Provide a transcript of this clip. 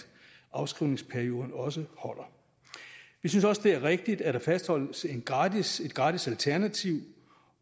afskrivningsperioden også holder vi synes også det er rigtigt at der fastholdes et gratis et gratis alternativ